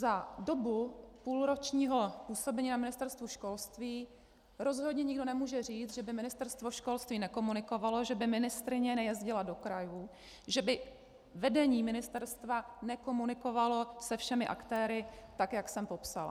Za dobu půlročního působení na Ministerstvu školství rozhodně nikdo nemůže říct, že by Ministerstvo školství nekomunikovalo, že by ministryně nejezdila do krajů, že by vedení ministerstva nekomunikovalo se všemi aktéry, tak jak jsem popsala.